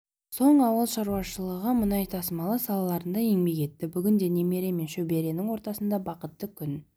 соң ауыл шаруашылығы мұнай тасымалы салаларында еңбек етті бүгінде немере мен шөберенің ортасында бақытты күн